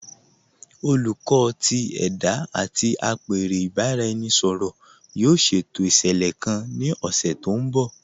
Olùkọ̀ tì ẹda àti apẹ̀rẹ̀ ìbàráẹnisọ̀rọ̀ yóò ṣétò iṣẹ́lẹ̀ kàn ní ọṣẹ̀ tó nbọ̀.